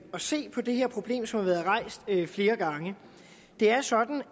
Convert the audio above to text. se på det her problem som har været rejst flere gange det er sådan